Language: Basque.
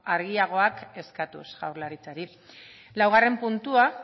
argiagoak eskatuz jaurlaritzari laugarrena puntua